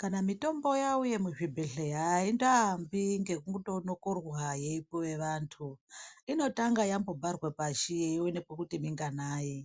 Kana mutombo yauye muzvibhedhlera aindoambi nekunomorwa yeipuwe antu inotanga yambobharwe pashi yoonekwe kuti minganai